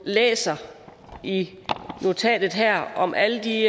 læser i notatet her om alle de